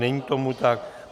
Není tomu tak.